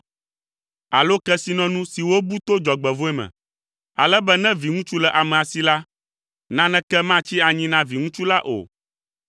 alo kesinɔnu si wobu to dzɔgbevɔ̃e me, ale be ne viŋutsu le amea si la, naneke matsi anyi na viŋutsu la o.